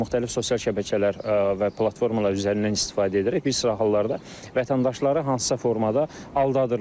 Müxtəlif sosial şəbəkələr və platformalar üzərindən istifadə edərək bir sıra hallarda vətəndaşları hansısa formada aldadırlar.